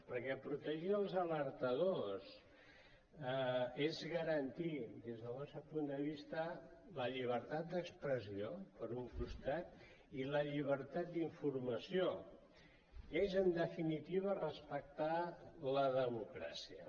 perquè protegir els alertadors és garantir des del nostre punt de vista la llibertat d’expressió per un costat i la llibertat d’informació és en definitiva respectar la democràcia